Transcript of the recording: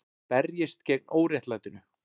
Berjist gegn óréttlætinu